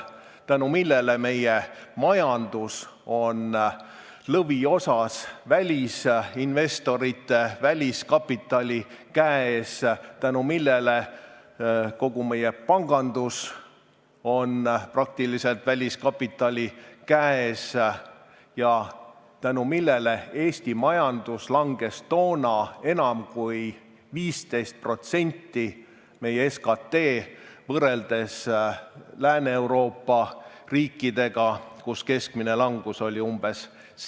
Seetõttu on meie majandus lõviosas välisinvestorite, väliskapitali käes, kogu meie pangandus on praktiliselt väliskapitali käes ja Eesti majandus langes toona enam kui 15%, meie SKT, võrreldes Lääne-Euroopa riikidega, kus keskmine langus oli umbes 7%